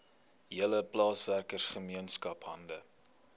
hele plaaswerkergemeenskap hande